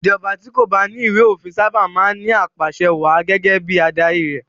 Ìjọba tí kò bá ní ìwé-òfin sábà máa ń ní apàsẹwàá gẹ́gẹ́ bí adarí rẹ̀.